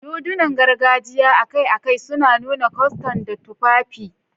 Dodunan gargajiya akai-akai suna nuna kwastan da tufafi.